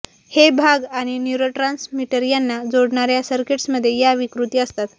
हे भाग आणि न्युरोट्रान्समीटर यांना जोडणार्या सर्किट्समध्ये या विकृती असतात